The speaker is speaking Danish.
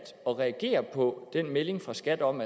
at reagere på den melding fra skat om